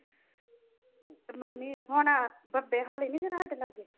ਤੇ ਮੰਮੀ ਨੇ ਹੁਣ ਬੰਬੇਹਾਲੀ ਨੀ ਜਿਹੜਾ ਸਾਡੇ ਲਾਗੇ।